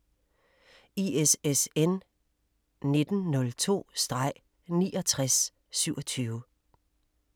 ISSN 1902-6927